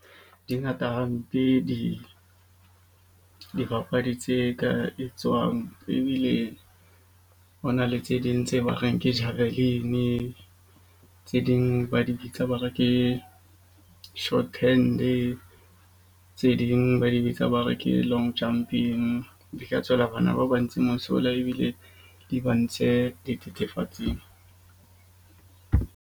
Di ngata hampe dibapadi tse ka etswang, ebile ho na le tse ding tse ba reng ke . Tse ding ba di bitsa ba re ke shorthand-e tse ding ba di bitsa ba re ke long jumping. Di ka tswela bana ba ntseng mosola ebile di ba ntshe dithethefatsing.